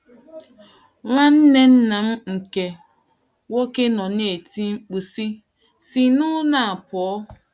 Nwanne nna m nke nwoke nọ na - eti mkpu, sị, “ Sinụ n’ụlọ a pụọ! ”